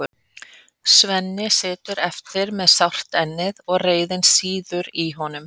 Svenni situr eftir með sárt ennið og reiðin sýður í honum.